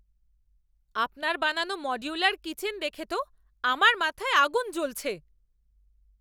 আপনার বানানো modular kitchen দেখে তো আমার মাথায় আগুন জ্বলছে!